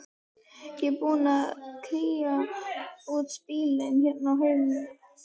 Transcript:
Ég er búin að kría út bílinn hérna á heimilinu.